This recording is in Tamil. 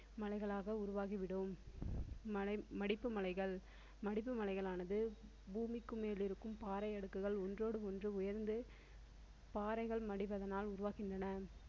மலைகளாக உருவாகி விடும் மலை மடிப்பு மலைகள் மடிப்பு மலைகளானது பூமிக்கு மேல் இருக்கும் பாறை அடுக்குகள் ஒன்றோடு ஒன்று உயர்ந்து பாறைகள் மடிவதனால் உருவாகின்றன.